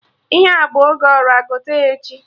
Ihe a bụ oge Ọra, gote ya echi